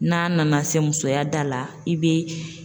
N'a nana se musoya da la, i bɛ